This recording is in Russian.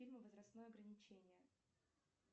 фильмы возрастное ограничение